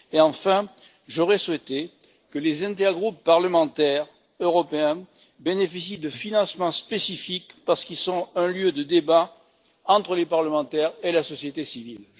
Enfin, j'aurais souhaité que les intergroupes parlementaires européens bénéficient de financements spécifiques parce qu'ils sont un lieu de débat entre les parlementaires et la société civile.